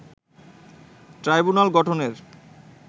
tribunal গঠনের